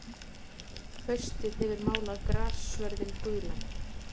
Haustið hefur málað grassvörðinn gulan.